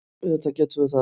Auðvitað getum við það.